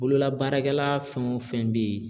Bololabaarakɛla fɛn o fɛn bɛ yen